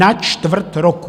Na čtvrt roku!